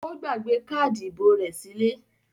Ó gbàgbé káádì ìbò rẹ̀ sílé?